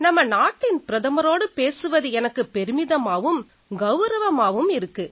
நம்ம நாட்டின் பிரதமரோடு பேசுவது எனக்கு பெருமிதமாவும் கௌரவமாவும் இருக்கு